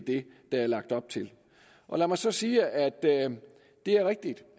der er lagt op til lad mig så sige at det er rigtigt